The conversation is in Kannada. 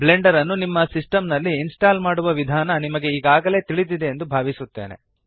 ಬ್ಲೆಂಡರ್ ನ್ನು ನಿಮ್ಮ ಸಿಸ್ಟೆಮ್ ನಲ್ಲಿ ಇನ್ಸ್ಟಾಲ್ ಮಾಡುವ ವಿಧಾನ ನಿಮಗೆ ಈಗಾಗಲೆ ತಿಳಿದಿದೆ ಎಂದು ಭಾವಿಸುತ್ತೇನೆ